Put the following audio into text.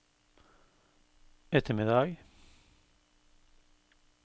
ettermiddag